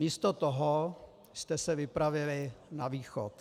Místo toho jste se vypravili na východ.